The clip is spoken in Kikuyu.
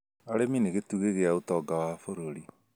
Arĩmi nĩ gĩtugĩ gĩa ũtonga wa bũrũri